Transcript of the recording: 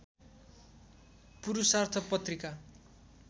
पुरूषार्थ पत्रिका